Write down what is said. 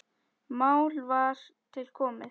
Mál var til komið.